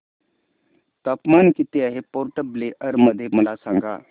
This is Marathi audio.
तापमान किती आहे पोर्ट ब्लेअर मध्ये मला सांगा